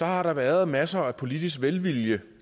har der været masser af politisk velvilje